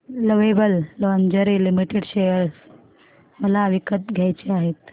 lovable Lingerie Limited share मला विकत घ्यायचे आहेत